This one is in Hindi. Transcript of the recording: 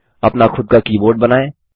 अपना खुद का कीबोर्ड बनाएँ